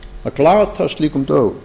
að glata slíkum dögum